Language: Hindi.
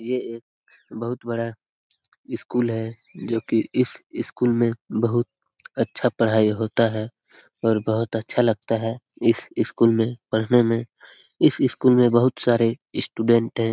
ये एक बहुत बड़ा स्कूल है जो कि इस स्कूल में बहुत अच्छा पढ़ाई होता है और बहुत अच्छा लगता है इस स्कूल में पढ़ने में इस स्कूल में बहुत सारे स्टूडेंट है।